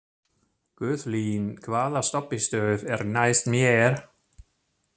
Guðlín, hvaða stoppistöð er næst mér?